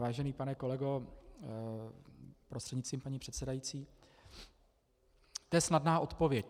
Vážený pane kolego prostřednictvím paní předsedající, to je snadná odpověď.